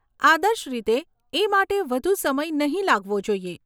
આદર્શ રીતે, એ માટે વધુ સમય નહીં લાગવો જોઈએ.